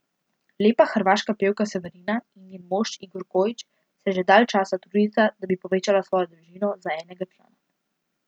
Lepa hrvaška pevka Severina in njen mož, Igor Kojić, se že dalj časa trudita, da bi povečala svojo družino za enega člana.